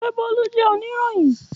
Ṣe Bolu jẹ oniroyin?